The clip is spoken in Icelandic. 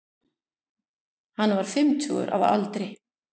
Hann var fimmtugur að aldri